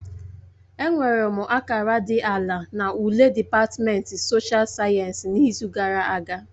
Enwere m akara dị ala na ule dịpatmenti soshial sayensị n'izu gara aga